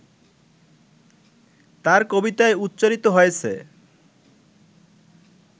তাঁর কবিতায় উচ্চারিত হয়েছে